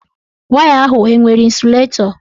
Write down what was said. Waya ahụ enwere ịnsụlatọ?